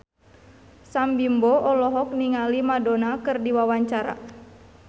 Sam Bimbo olohok ningali Madonna keur diwawancara